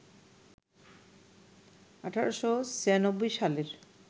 ১৮৯৬ সালের